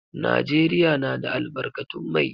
Najeriya na da albarkatun mai.